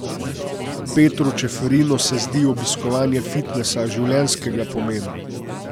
Petru Čeferinu se zdi obiskovanje fitnesa življenjskega pomena.